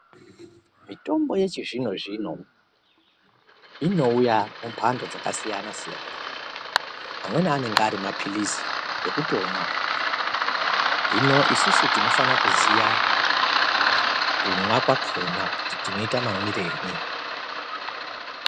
Mitombo yechizvino-zvino inouya mumhando dzakasiyana-siyana. Amweni anenge ari mapiritsi ekutomwa, hino isusu tinofanira kuziya kumwa kwakhona kuti tinoita mamwirei.